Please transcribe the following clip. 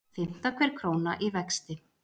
Fimmta hver króna í vexti